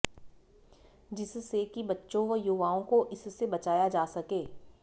जिससे कि बच्चों व युवाओं को इससे बचाया जा सके